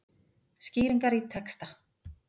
Skýringar í texta.